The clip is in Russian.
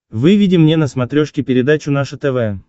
выведи мне на смотрешке передачу наше тв